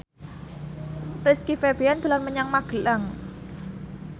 Rizky Febian dolan menyang Magelang